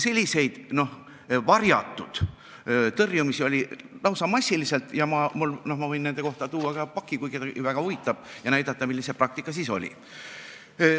Selliseid varjatud tõrjumisi oli lausa massiliselt ja ma võin nende kohta tuua terve paki, kui kedagi asi huvitab, ja näidata, milline see praktika siis oli.